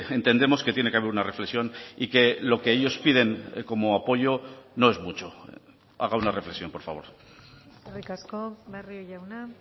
entendemos que tiene que haber una reflexión y que lo que ellos piden como apoyo no es mucho haga una reflexión por favor eskerrik asko barrio jauna